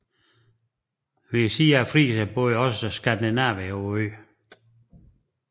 Ved siden af friserne boede også skandinavere på øen